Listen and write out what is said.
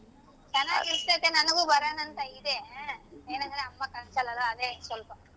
ಚೆನಾಗಿರತೈತೆ ನನಗೂ ಬರಣಾ ಅಂತಾ ಇದೆ ಎನಂದ್ರೆ ಅಮ್ಮಾ ಕಳಸಲ್ಲಾ ಅಲ್ಲಾ ಅದೆ ಸ್ವಲ್ಪ.